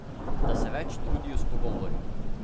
Da se več trudijo s pogovori?